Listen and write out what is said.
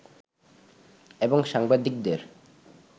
এবং সাংবাদিকদের